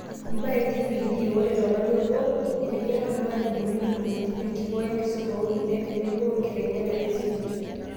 Imbaa e TPD : ore tolari obo, etijing'a irmalimuni ntumoritin , enkikoo esimu oorkulie tenebo wenkiteng'ena esimu